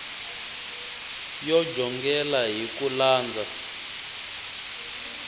yo jongela hi ku landza